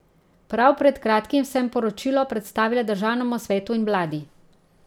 Prav pred kratkim sem poročilo predstavila državnemu svetu in vladi.